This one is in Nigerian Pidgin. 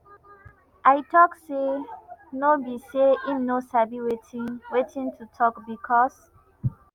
ay tok say no be say im no sabi wetin wetin to tok becos